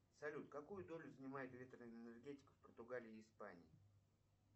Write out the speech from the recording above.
салют какую долю занимает ветреная энергетика в португалии и испании